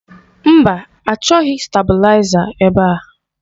Mba, achọghị stabụlaiza ebe a.